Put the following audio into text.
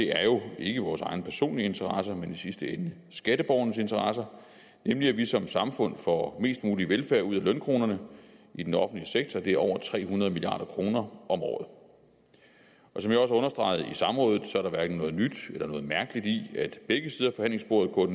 er jo ikke vores egne personlige interesser men i sidste ende skatteborgernes interesser nemlig at vi som samfund får mest mulig velfærd ud af lønkronerne i den offentlige sektor det er over tre hundrede milliard kroner om året som jeg også understregede i samrådet er der hverken noget nyt eller mærkeligt i at begge sider af forhandlingsbordet